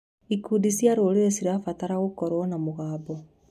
Ikundi cia rũrĩrĩ cirabatara gũkorwo na mũgambo.